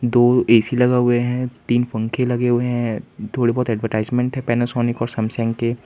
दो ए_सी लगा हुए हैं तीन पंखे लगे हुए हैं थोड़े बहुत एडवर्टाइजमेंट है पैनासोनिक और सैमसंग के।